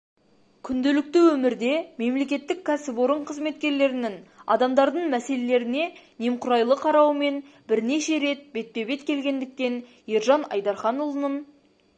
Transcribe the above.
күнделікті өмірде мемлекеттік кәсіпорын қызметкерлерінің адамдардың мәселелеріне немқұрайлы қарауымен бірнеше рет бетпе бет келгендіктен ержан айдарханұлының